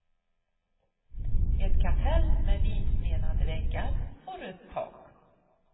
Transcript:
Ett kapell med vitmenade väggar och rött tak.